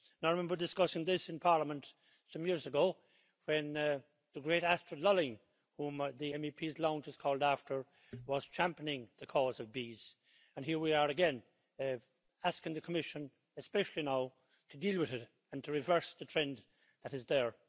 I remember discussing this in Parliament some years ago, when the great Astrid Lulling, whom the MEPs' lounge is called after, was championing the cause of bees, and here we are again, asking the Commission especially now to deal with it and to reverse the trend that is there.